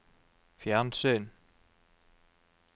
fjernsyn